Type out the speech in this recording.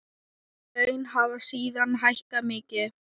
Laun hafa síðan hækkað mikið.